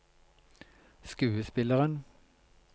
skuespilleren